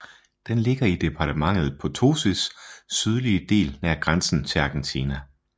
Den ligger i departementet Potosís sydlige del nær grænsen til Argentina